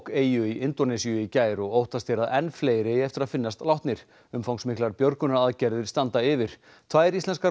eyju í Indónesíu í gær og óttast er að enn fleiri eigi eftir að finnast látnir umfangsmiklar björgunaraðgerðir standa yfir tvær íslenskar